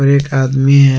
एक आदमी है।